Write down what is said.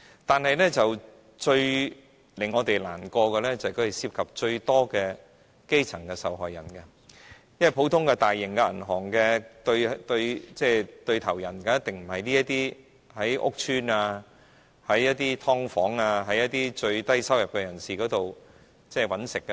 但是，最令我們難過的是它們涉及最多基層受害人，因為一般大型銀行的生意對象一定不是這些居住於屋邨、"劏房"、最低收入的人士。